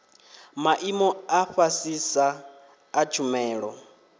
maimo a fhasisa a tshumelo